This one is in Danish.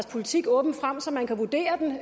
politik åbent frem så man kan vurdere den